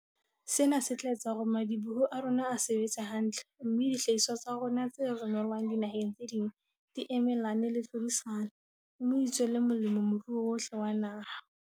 Sena se tla etsa hore madi-boho a rona a sebetse hantle, mme dihlahiswa tsa rona tse romelwang dinaheng tse ding di emelane le tlhodisano, me di tswele molemo moruo wohle wa naha.